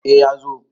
A ya zo